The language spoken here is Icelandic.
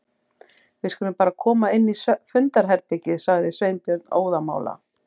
Við skulum bara koma inn í fundarherbergi- sagði Sveinbjörn óðamála.